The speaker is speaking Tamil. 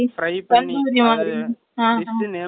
name எல்லாம் தெரியல நாங்க சாப்பிறதுல ஆர்வமா